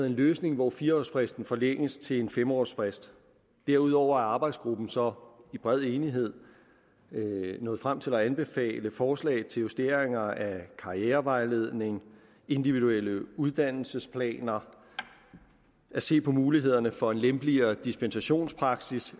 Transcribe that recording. en løsning hvor fire årsfristen forlænges til en fem årsfrist derudover er arbejdsgruppen så i bred enighed nået frem til at anbefale forslag til justeringer af karrierevejledning individuelle uddannelsesplaner at se på mulighederne for en lempeligere dispensationspraksis